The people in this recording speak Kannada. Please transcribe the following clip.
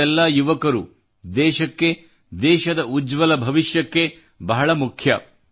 ನೀವೆಲ್ಲ ಯುವಕರು ದೇಶಕ್ಕೆ ದೇಶದ ಉಜ್ವಲ ಭವಿಷ್ಯಕ್ಕಾಗಿ ಬಹಳ ಮುಖ್ಯ